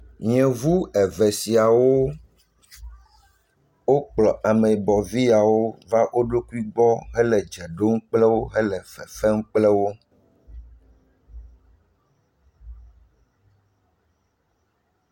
Yevu eve siawo wokplɔ ameyibɔvi yaw ova wo ɖokui gbɔ hele dze ɖom kple wo hele fefem kple wo.